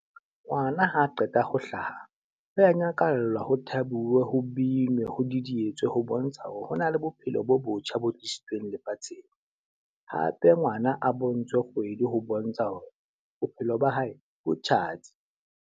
Ngwana ha qeta ho hlaha, ho a nyakallwa ho thabiwe, ho binwe, ho didietswa ho bontsha hore hona le bophelo bo botjha bo tlisitsweng lefatsheng. Hape ngwana a bontshwe kgwedi ho bontsha hore bophelo ba hae bo tjhatsi.